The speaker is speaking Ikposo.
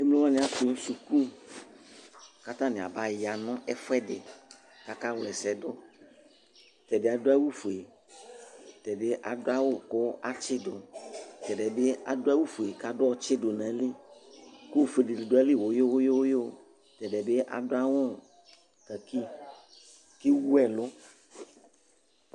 emlo wani atu suku katani aba ya nu ɛfuɛdi kaka wlɛsɛdu tɛ bi adu awu ofue tɛ bi adu ku atʒidʋ tɛ diɛ bi adu awu ofue ka bu ɔtʒidʋ nu ayili ku ofue dini du agility ʋɣuʋɣʋ tɛdiɛ bi adu awu kaki ku ewuɛlu